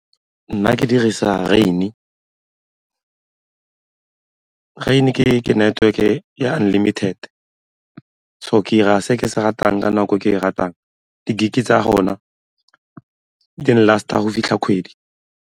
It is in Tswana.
Nna ke dirisa rain-e, rain-e ke network-e ya unlimited so ke 'ira se ke se ratang ka nako ke e ratang di-gig-e tsa gona di n-last-a go fitlha kgwedi.